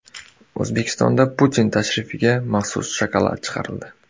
O‘zbekistonda Putin tashrifiga maxsus shokolad chiqarildi .